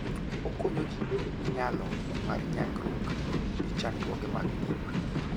Okonyo ji bedo gi nyalo mar nyagruok gi chandruoge mag ngima.